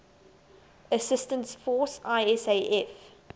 assistance force isaf